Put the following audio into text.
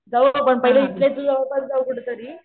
जाऊ आपण तरी जाऊ कुठेतरी